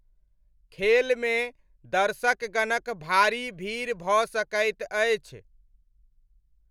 खेलमे दर्शकगणक भारी भीड़ भऽ सकैत अछि।